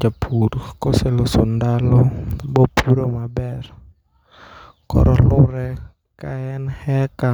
Japur koseloso ndalo bopuro maber koro lure ka en eka